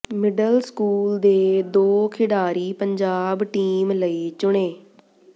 middle school ਦੇ ਦੋ ਖਿਡਾਰੀ ਪੰਜਾਬ ਟੀਮ ਲਈ ਚੁਣੇ